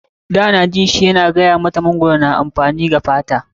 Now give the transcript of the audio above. Dan na ji shi yana gaya mata mangwaro na da amfani wa fata.